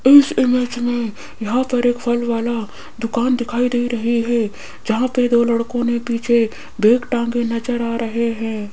इस इमेज में यहां पर एक फल वाला दुकान दिखाई दे रहा है जहां पे दो लड़के पीछे बैग टांगे नजर आ रहे हैं।